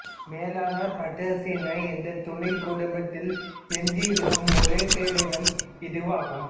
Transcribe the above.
Melanobatrachinae என்ற துணைக் குடும்பத்தில் எஞ்சியிருக்கும் ஒரே பேரினம் இதுவாகும்